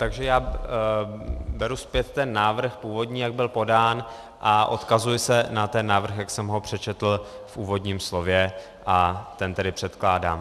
Takže já beru zpět ten návrh původní, jak byl podán, a odkazuji se na ten návrh, jak jsem ho přečetl v úvodním slově, a ten tedy předkládám.